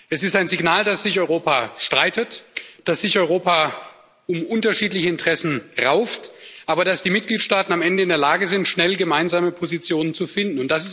Es ist ein Signal, dass sich Europa streitet, dass sich Europa um unterschiedliche Interessen rauft, aber dass die Mitgliedstaaten am Ende in der Lage sind, schnell gemeinsame Positionen zu finden.